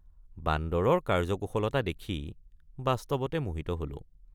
বান্দৰৰ কাৰ্যকুশলতা দেখি বাস্তৱতে মোহিত হলোঁ।